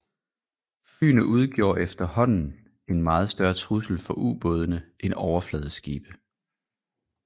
Flyene udgjorde efterhånden en meget større trussel for ubådene end overfladeskibe